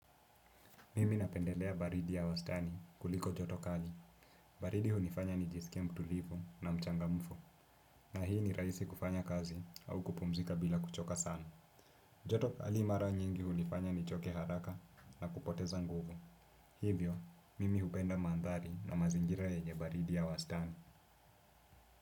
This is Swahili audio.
Mimi napendelea baridi ya wastani kuliko joto kali. Baridi hunifanya nijisikie mtulivu na mchangamfu. Na hii ni rahisi kufanya kazi au kupumzika bila kuchoka sana. Joto kali mara nyingi hunifanya ni choke haraka na kupoteza nguvu. Hivyo, mimi hupenda mandhari na mazingira yenye baridi ya wastani.